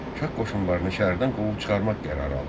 Şah qoşunlarını şəhərdən qovub çıxarmaq qərarı alındı.